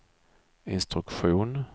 instruktion